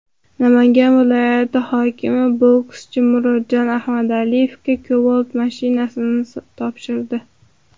Namangan viloyati hokimi bokschi Murodjon Ahmadaliyevga Cobalt avtomashinasini topshirdi.